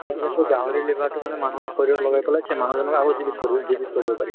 তেতিয়া সেই গাহৰিৰ liver টো মানে মানুহৰ শৰীৰত লগাই পেলে সেই মানুহজনক আক জীবিত জীবিত কৰিব পাৰি।